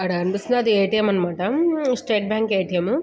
అక్కడ అనిపిస్తుంది ఎ_టి_ఎం అన్నమాట. State Bank ATM .